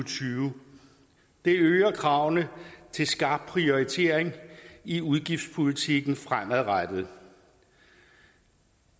tyve det øger kravene til skarp prioritering i udgiftspolitikken fremadrettet